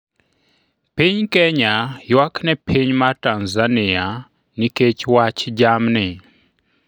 Piny Kenya ywak ne piny mar Tanzania nikech wach jamni